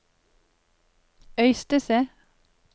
Øystese